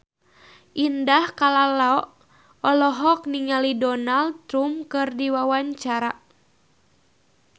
Indah Kalalo olohok ningali Donald Trump keur diwawancara